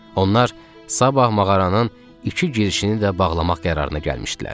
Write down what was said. Onlar sabah mağaranın iki girişini də bağlamaq qərarına gəlmişdilər.